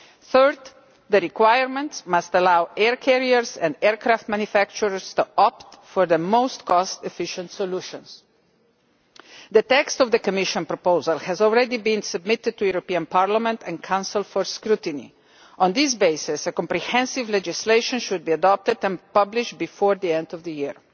Third, the requirements must allow air carriers and aircraft manufacturers to opt for the most cost efficient solutions. The text of the Commission proposal has already been submitted to the European Parliament and Council for scrutiny. On that basis, comprehensive legislation should be adopted and published before the end of the year.